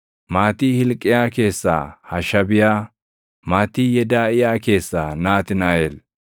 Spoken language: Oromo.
maatii Hilqiyaa keessaa Hashabiyaa; maatii Yedaaʼiyaa keessaa Naatnaaʼel.